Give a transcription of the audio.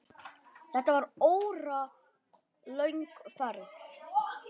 Þetta var óralöng ferð.